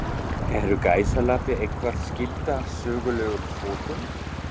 Eru gæsalappir eitthvað skyldar sögulegum fótum?